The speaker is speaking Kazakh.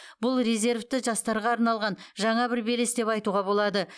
бұл резервті жастарға арналған жаңа бір белес деп айтуға болады